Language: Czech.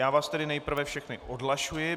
Já vás tedy nejprve všechny odhlašuji.